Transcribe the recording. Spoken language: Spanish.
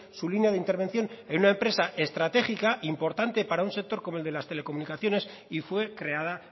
su línea de intervención en una empresa estratégica importante para un sector como el de las telecomunicaciones y fue creada